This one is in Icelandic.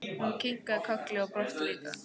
Hún kinkaði kolli og brosti líka.